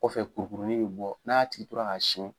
Kɔfɛ kurukurunin bɛ bɔ n'a tigi tora k'a siyɛn